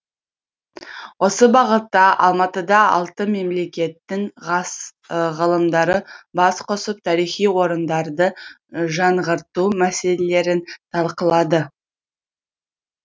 осы бағытта алматыда алты мемлекеттің ғылымдары бас қосып тарихи орындарды жаңғырту мәселелерін талқылады